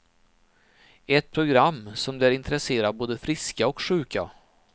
Ett program som lär intressera både friska och sjuka.